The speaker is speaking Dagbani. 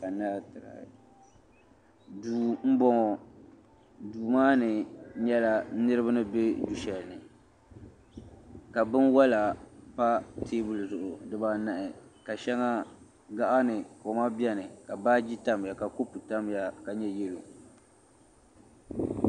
duu m-bɔŋɔ duu maa ni nyɛla niriba ni be du' shɛli ni ka binwɔla pa teebuli zuɣu dibaa anahi ka shɛŋa gaɣa ni ka koma beni ka baaji tamya ka kopu tam ya.